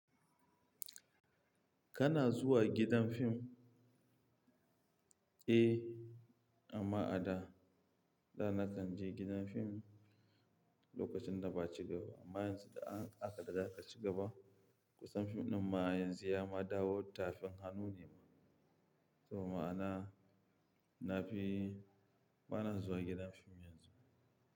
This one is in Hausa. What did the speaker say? Kana zuwa gidan fim? Eh, amma a da. Da na kan je gidan fim lokacin da ba ci gaba amma yanzu da aka da ya ci gaba kusan fim ɗin ma yanzu ya ma dawo tafin hannu ne ma. To ma ana, na fi bana zuwa gidan fim yanzu.